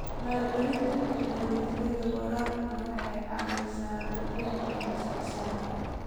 Maalgelinta tignoolajiyada waraabka waxay caawisaa kordhinta wax soo saarka.